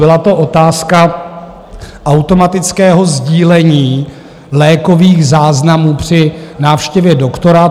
Byla to otázka automatického sdílení lékových záznamů při návštěvě doktora.